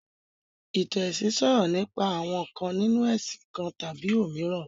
Ìtàn ẹ̀sìn sọ̀rọ̀ nípa àwọn ǹkan nínu ẹ̀sìn kan tàbí òmíràn